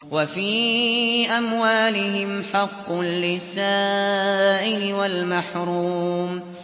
وَفِي أَمْوَالِهِمْ حَقٌّ لِّلسَّائِلِ وَالْمَحْرُومِ